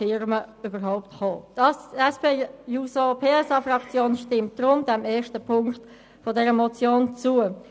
Die SPJUSO-PSA-Fraktion stimmt daher Ziffer 1 der Motion zu.